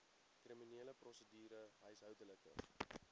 kriminele prosedure huishoudelike